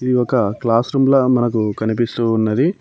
ఇది ఒక classroom లా మనకు కనిపిస్తూ ఉన్నది.